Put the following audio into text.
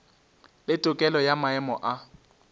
le tokelo ya maemo a